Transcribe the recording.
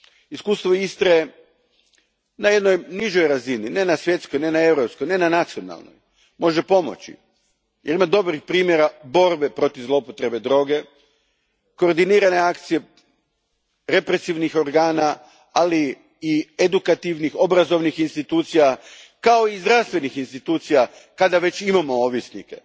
Iskustvo Istre na jednoj nižoj razini, ne na svjetskoj, ne na europskoj, ne na nacionalnoj, može pomoći jer ima dobrih primjera borbe proziv zloupotrebe droge, koordinirane akcije represivnih organa, ali i edukativnih, obrazovnih institucija, kao i zdravstvenih institucija kada već imamo ovisnike.